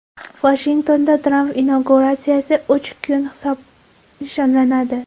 Vashingtonda Tramp inauguratsiyasi uch kun nishonlanadi.